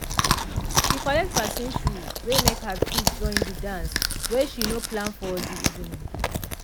she collect person shoe wey make her fit join de dance wey she no plan for de event.